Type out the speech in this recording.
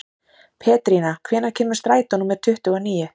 Pétrína, hvenær kemur strætó númer tuttugu og níu?